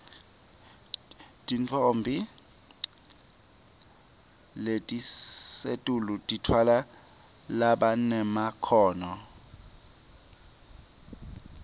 timoto letisetulu titfwala labanemakhono